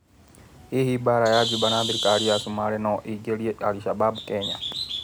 Hihi mbara ya Njuba na thirikari ya Cumarĩ no ĩingĩrie Alshababu Kenya ?